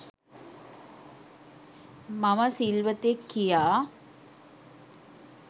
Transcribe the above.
මම සිල්වතෙක් කියා,